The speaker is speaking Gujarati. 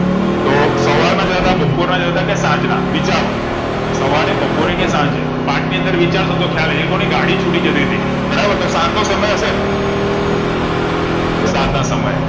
તો સવાર ના જતા બપોરના જતા કે સાંજના વિચારો સવારે બાપરે કે સાંજે પાઠ ની અંદર વિચારસો તો ખ્યાલ આઈજાય એ લોકો ની ગાડી છૂટી જતીતી બરાબર તો સાંજ નો સમય હશે સંજનાસમયે